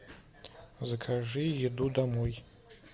закажи еду домой